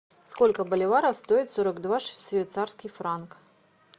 сколько боливаров стоит сорок два швейцарский франк